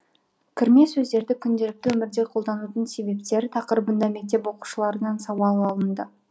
кірме сөздерді күнделікті өмірде қолданудың себептері тақырыбында мектеп оқушыларынан сауал алынды